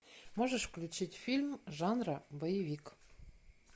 можешь включить фильм жанра боевик